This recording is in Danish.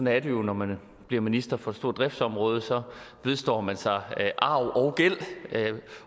er det jo når man bliver minister for et stort driftsområde så vedstår man sig arv